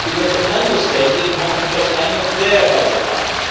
because the Member States did not want to touch any of their own budget lines.